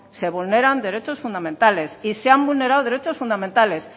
se vulneran derechos fundamentales y se han vulnerado derechos fundamentales